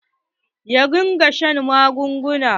Ya riga ya sha magunguna.